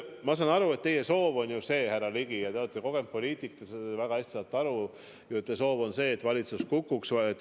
Ma saan aru, et teie soov, härra Ligi, on see – te olete kogenud poliitik, ma saan sellest väga hästi aru –, et valitsus kukuks.